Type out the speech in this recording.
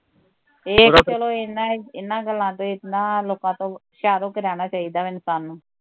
ਤੇ ਏਹ ਤੇ ਚਲੋ ਏਹਨਾ ਏਹਨਾ ਗੱਲ ਤੋਂ ਈ ਏਹਨਾ ਲੋਕਾਂ ਤੋਂ ਹੁਸ਼ਿਆਰ ਹੋਕੇ ਰਹਿਣਾ ਚਾਹੀਦਾ ਵਾਂ ਇਨਸਾਨ ਨੂੰ